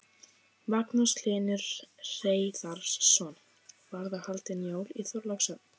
Magnús Hlynur Hreiðarsson: Verða haldin jól í Þorlákshöfn?